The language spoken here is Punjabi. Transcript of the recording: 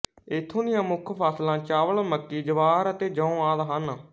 ਇੱਥੋਂ ਦੀਆਂ ਮੁੱਖ ਫਸਲਾਂ ਚਾਵਲ ਮੱਕੀ ਜਵਾਰ ਅਤੇ ਜੌਂ ਆਦਿ ਹਨ